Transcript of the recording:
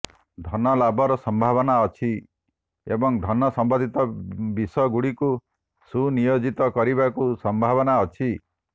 ଧନ ଲାଭର ସଂଭାବନା ଅଛି ଏବଂ ଧନ ସମ୍ବନ୍ଧୀତ ବିଷଗୁଡ଼ିକୁ ସୁନିୟୋଜିତ କରିବାକୁ ସଂଭବନା ଅଛି